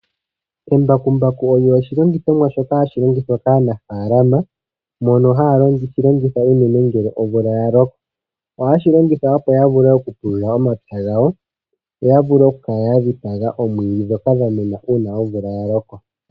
Embakumbaku olyo oshilongithomwa shoka hashi longithwa kaanafalama, mono haa li longitha unene ngele omvula yaloko. Ohaashi longitha opo ya vule oku pulula omapya gawo, yo yavule oku kala yadhipaga omwiidhi dhoka dha mena uuna omvula yaloko.